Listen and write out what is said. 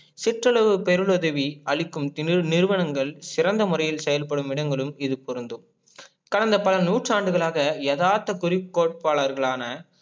சிற்றுளவு பெருள் உதவி அளிக்கும் நிறுவனங்கள் சிறந்த முறையில் செயல்படும் இடங்களுள் இது பொருந்தும், கடந்த பல நுற்றண்டுகலாக எதார்த்த குறிப்கோட்பாலர்கலான